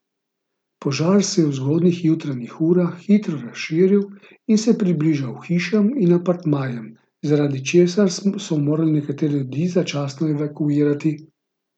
Požar se je v zgodnjih jutranjih urah hitro razširil in se približal hišam in apartmajem, zaradi česar so morali nekatere ljudi začasno evakuirati.